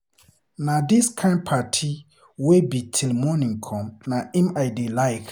Na dis kin party wey be till morning come na im I dey like.